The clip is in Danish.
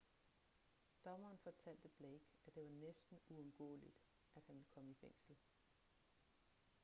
dommeren fortalte blake at det var næsten uundgåeligt at han ville komme i fængsel